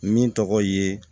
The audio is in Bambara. Min tɔgɔ ye